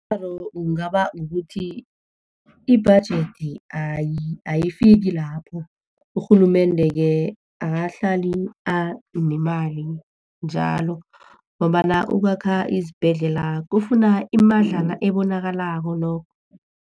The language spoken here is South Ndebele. Umraro kungaba kukuthi i-budget ayifiki lapho. Urhulumende-ke akahlali anemali njalo, ngombana ukwakha isibhedlela kufuna imadlana ebonakalako nokho.